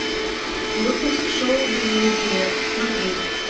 выпуск шоу безликие смотреть